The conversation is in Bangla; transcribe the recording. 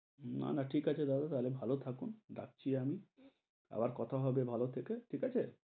না-না, ঠিক আছে দাদা, তাহলে ভালো থাকুন, রাখছি আমি আবার কথা হবে ভালো থেকে, ঠিক আছে,